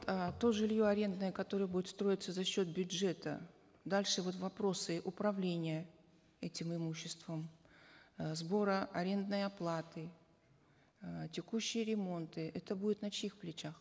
э то жилье арендное которое будет строиться за счет бюджета дальше вот вопросы управления этим имуществом э сбора арендной оплаты э текущие ремонты это будет на чьих плечах